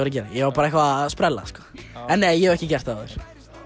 að gera ég var bara að sprella en nei ég hef ekki gert það áður